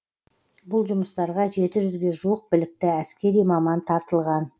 бұл жұмыстарға жеті жүзге жуық білікті әскери маман тартылған